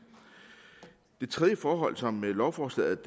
det tredje forhold som lovforslaget